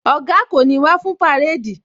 Oga kò ní wá fún parade